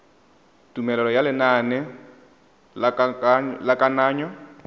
tumelelo ya lenaneo la kananyo